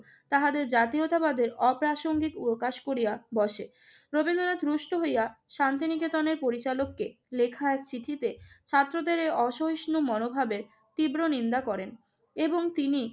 তাহাদের জাতীয়তাবাদের অপ্রাসঙ্গিক প্রকাশ করিয়া বসে। রবীন্দ্রনাথ রুষ্ট হইয়া শান্তি নিকেতনের পরিচালককে লেখা এক চিঠিতে ছাত্রদের এ অসহিষ্ণু মনোভাবের তীব্র নিন্দা করেন এবং তিনি